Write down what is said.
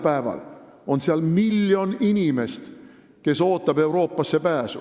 Praegu on seal miljon inimest, kes ootab Euroopasse pääsu.